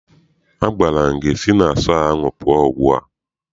Agwara m gị si na sọọ ahụ pụọ ugbu a!